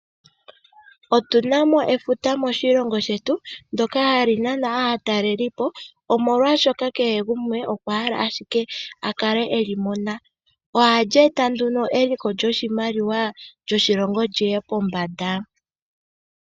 Otuna mo efuta moshilongo shetu ndyoka hali nana aatalelipo omolwaashoka kehe gumwe okwa hala ashike akale eli mona. Ohali eta nduno eliko lyoshimaliwa sho shoshilongo liye pombanda.